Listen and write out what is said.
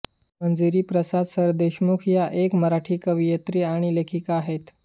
मंजिरी प्रसाद सरदेशमुख या एक मराठी कवयित्री आणि लेखिका आहेत